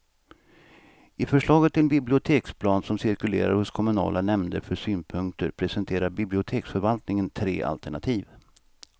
I förslaget till biblioteksplan som cirkulerar hos kommunala nämnder för synpunkter presenterar biblioteksförvaltningen tre alternativ.